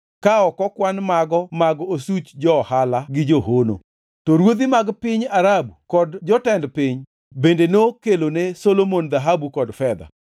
ka ok okwan mago mag osuch jo-ohala gi johono. To ruodhi mag piny Arabu kod jotend piny bende nokelone Solomon dhahabu kod fedha.